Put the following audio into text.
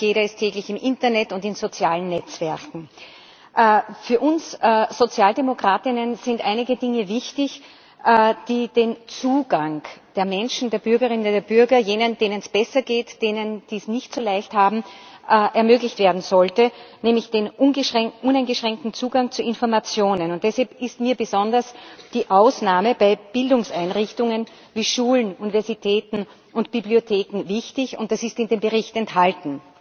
Fast jeder ist täglich im Internet und in sozialen Netzwerken. Für uns alle Sozialdemokratinnen und Sozialdemokraten sind einige Dinge wichtig, die den Zugang der Menschen, der Bürgerinnen, der Bürger, jener, denen es besser geht, derer, die es nicht so leicht haben, ermöglichen sollten, nämlich den uneingeschränkten Zugang zu Informationen. Deshalb ist mir besonders die Ausnahme bei Bildungseinrichtungen wie Schulen, Universitäten und Bibliotheken wichtig, und das ist in dem Bericht enthalten.